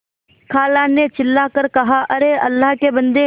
खाला ने चिल्ला कर कहाअरे अल्लाह के बन्दे